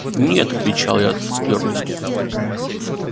нет отвечал я с твёрдостью